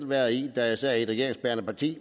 været i da jeg sad i et regeringsbærende parti